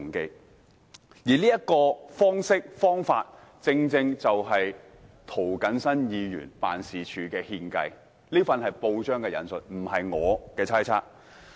今次這種方式，由涂謹申議員辦事處獻計，這是引述報章報道，而不是我的猜測。